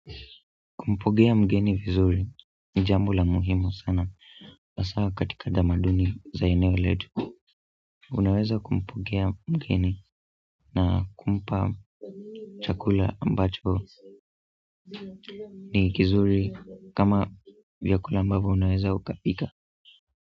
Kumpokea mgeni vizuri ni jambo la muhimu sana, hasa katika tadamaduni za eneo letu unaweza kumpokea mgeni na kumpa chakula ambacho ni kizuri kama vyakula ambavyo unaweza ukapika.